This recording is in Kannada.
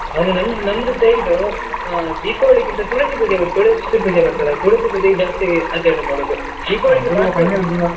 ಅಂದ್ರೆ ನಮ್~ ನಮ್ದು side ಆ Deepavali ಕಿಂತ ತುಳಸಿ ಪೂಜೆ ತುಳಸಿ ಪೂಜೆ ಮಾಡ್ತಾರೆ ತುಳಸಿ ಪೂಜೆ ಜಾಸ್ತಿ ಆಚರಣೆ ಮಾಡೋದು .